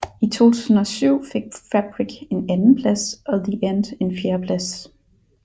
I 2007 fik Fabric en andenplads og The End en fjerdeplads